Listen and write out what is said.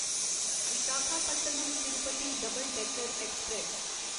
Visakhapatnam Tirupati double decker express